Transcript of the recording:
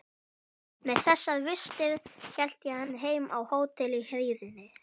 Með þessar vistir hélt hann heim á hótel í hríðinni.